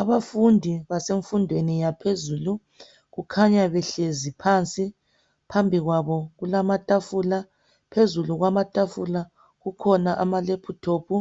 Abafundi basemfundweni yaphezulu kukhanya behlezi phansi, phambi kwabo kulamatafula phezulu kwamatafula kukhona amalephuthophu